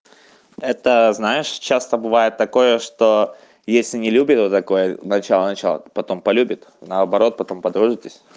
это знаешь часто бывает такое что если не любит вот такое начало начало потом полюбит наоборот потом подружитесь